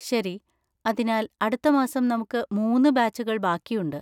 ശരി. അതിനാൽ അടുത്ത മാസം നമുക്ക് മൂന്ന് ബാച്ചുകൾ ബാക്കിയുണ്ട്.